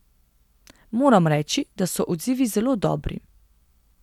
Moram reči, da so odzivi zelo dobri.